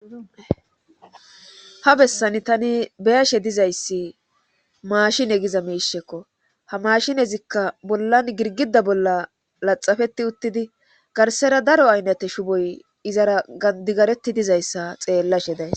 Ha bessani tani beyashe dizayssi maashin egiza miishekko ha mashinezikka bollan girgida bolla laxafeti uttidi garsera daro aynnate shuboy izara gandigareti dizayssa xeellashe days